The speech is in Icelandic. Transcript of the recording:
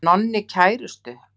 Hann Nonni kærustu.